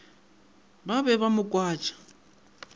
ba be ba mo kwatša